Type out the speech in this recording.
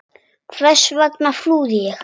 Hvers vegna flúði ég?